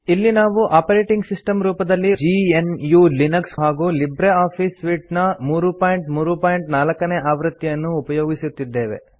ಇಲ್ಲಿ ನಾವು operating system ರೂಪದಲ್ಲಿ ಜಿಎನ್ಯು ಲಿನಕ್ಸ್ ಹಾಗೂ ಲಿಬ್ರೆ ಆಫೀಸ್ ಸೂಟ್ ನ 334 ನೇ ಆವೃತ್ತಿಯನ್ನು ಉಪಯೊಗಿಸುತ್ತಿದ್ದೇವೆ